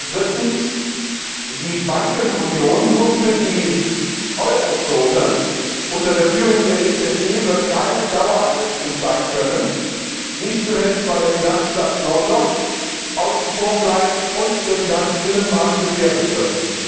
Drittens Die Bankenunion nur für das Euro Währungsgebiet unter der Führung der EZB wird keine Dauereinrichtung sein können, nicht zuletzt, weil der Finanzplatz London außen vor bleibt und der Finanzbinnenmarkt gefährdet wird.